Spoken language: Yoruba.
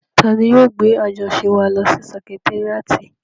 Tani yóò gbé àjọṣe wa lọ sí sẹkitéríàtì?